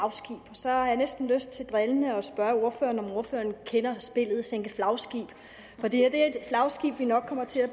så har jeg næsten lyst til drillende at spørge ordføreren om ordføreren kender spillet sænke flagskibe for det her er et flagskib vi nok kommer til